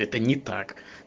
это не так